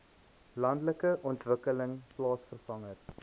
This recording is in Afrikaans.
landelike ontwikkeling plaaswerker